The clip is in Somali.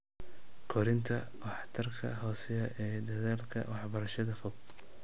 Kordhinta waxtarka hooseeya ee dadaalka waxbarashada fog